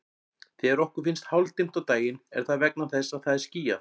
Þegar okkur finnst hálfdimmt á daginn er það vegna þess að það er skýjað.